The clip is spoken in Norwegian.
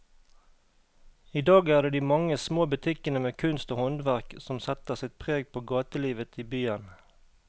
I dag er det de mange små butikkene med kunst og håndverk som setter sitt preg på gatelivet i byen.